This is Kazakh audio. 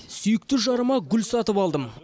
сүйікті жарыма гүл сатып алдым